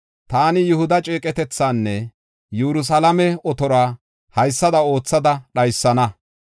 “Taani Yihuda ceeqetethaanne Yerusalaame otoruwa haysada oothada dhaysana.